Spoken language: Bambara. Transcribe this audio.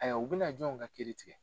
Haya u bɛ na jɔnw ka kiiri tigɛ.